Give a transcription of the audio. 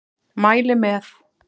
Mæli með.